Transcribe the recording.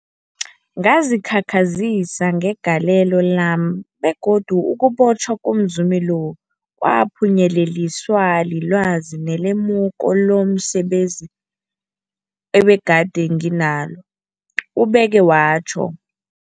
Ngazikhakhazisa ngegalelo lami, begodu ukubotjhwa komzumi lo kwaphunyeleliswa lilwazi nelemuko lomse benzi ebegade nginalo, ubeke watjho.